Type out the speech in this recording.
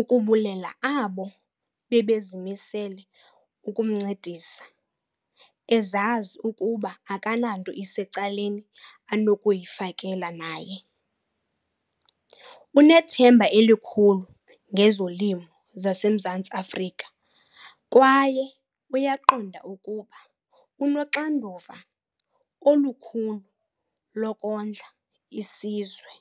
ukubulela abo bebezimisele ukumncedisa, ezazi ukuba akananto isecaleni anokuyifakela naye. Unethemba elikhulu ngezolimo zaseMzantsi Afrika kwaye uyaqonda ukuba unoxanduva olukhulu lokondla isizwe.